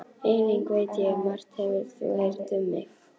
Einnig veit ég að margt hefur þú heyrt um mig.